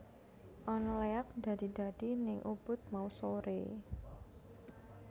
Ana leak ndadi ndadi ning Ubud mau sore